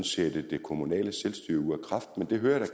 sætte det kommunale selvstyre ud af kraft men det hører jeg